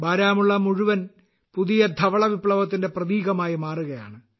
ബാരാമുള്ള മുഴുവൻ പുതിയ ധവളവിപ്ലവത്തിന്റെ പ്രതീകമായി മാറുകയാണ്